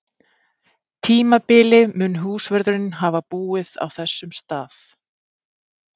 tímabili mun húsvörðurinn hafa búið á þessum stað.